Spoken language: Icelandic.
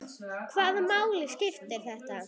Hvaða máli skipti þetta?